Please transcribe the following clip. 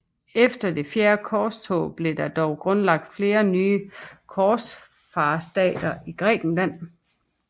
Efter det fjerde korstog blev der dog grundlagt flere nye korsfarerstater i Grækenland